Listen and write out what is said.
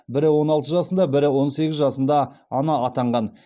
бірі он алты жасында бірі он сегіз жасында ана атанған